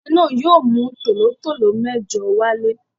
Ọdẹ náà yóò mú tòlótòtó mẹ́jọ wálé.